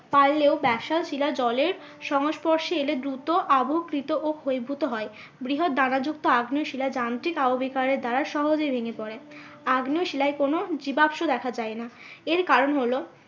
পারলেও শিলা জলের সংস্পর্শে এলে দ্রুত অবকৃত ও ক্ষয়ীভূত হয়। বৃহৎ দ্বারা যুক্ত আগ্নেয় শিলা যান্ত্রিক আবহবিকারের দ্বারা সহজে ভেঙে পরে। কোনো আগ্নেয় শিলায় কোন জীবাশ্ম দেখা যায় না। এর কারণ হলো